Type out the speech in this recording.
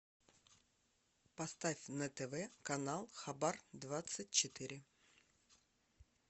поставь на тв канал хабар двадцать четыре